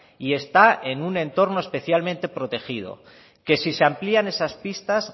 y está en un entorno especialmente protegido que si se amplían esas pistas